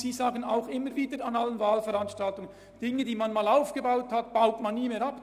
Es wird immer wieder gesagt, dass man Dinge, die man einmal aufgebaut habe, nie mehr abbaue.